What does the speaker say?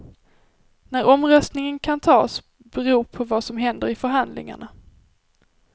När omröstningen kan tas beror på vad som händer i förhandlingarna.